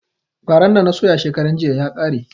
Faran da na soya shekaran jiya ya ƙare